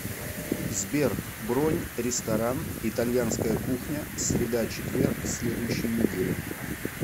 сбер бронь ресторан итальянская кухня среда четверг следующей недели